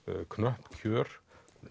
knöpp kjör